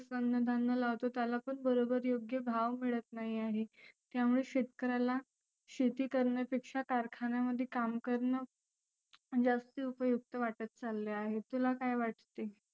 अन्न धान्य लावतो त्याला पण बरोबर योग्य भाव मिळत नाहि आहे. त्यामुळे शेतकऱ्याला शेती करण्यापेक्षा कारखान्यामध्ये काम करणं जास्त उपयुक्त वाटत चालले आहे. तुला काय वाटते?